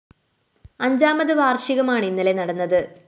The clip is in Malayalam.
അഞ്ചാമത് വാര്‍ഷികമാണ് ഇന്നലെ നടന്നത്